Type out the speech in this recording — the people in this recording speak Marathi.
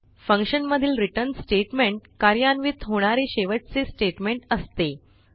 फंक्शनमधील रिटर्न स्टेटमेंट कार्यान्वित होणारे शेवटचे स्टेटमेंट असते